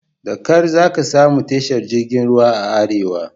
Da ƙar zaka samu tashar jirgin ruwan a arewa.